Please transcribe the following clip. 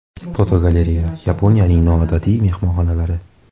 Fotogalereya: Yaponiyaning noodatiy mehmonxonalari.